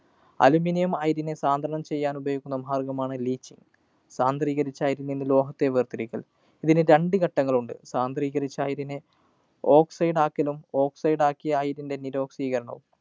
Aluminium അയിരിനെ സാന്ദ്രണം ചെയ്യാനുപയോഗിക്കുന്ന ഭാഗമാണ് Leach. സാന്ദ്രീകരിച്ച അയിരില്‍ നിന്നും ലോഹത്തെ വേര്‍തിരിക്കല്‍. ഇതിന് രണ്ട് ഘട്ടങ്ങളുണ്ട്. സാന്ദ്രീകരിച്ച അയിരിനെ oxide ആക്കലും. oxide ആക്കിയ അയിരിൻ്റെ നിരൊക്സീകരണവും.